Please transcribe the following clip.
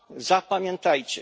Zapamiętajcie.